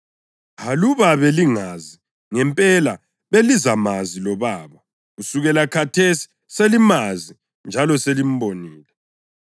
Aluba belingazi ngempela, belizamazi loBaba. Kusukela khathesi, selimazi njalo selimbonile.”